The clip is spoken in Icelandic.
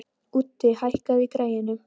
Úddi, hækkaðu í græjunum.